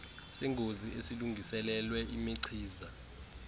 sengozi esilungiselelwe imichiza